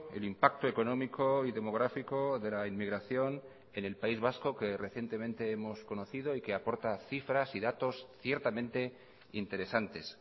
el impacto económico y demográfico de la inmigración en el país vasco que recientemente hemos conocido y que aporta cifras y datos ciertamente interesantes